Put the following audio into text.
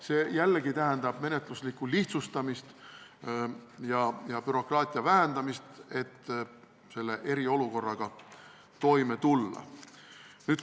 See jällegi tähendab menetluse lihtsustamist ja bürokraatia vähendamist, et eriolukorraga toime tulla.